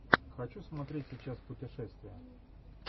хочу смотреть сейчас путешествия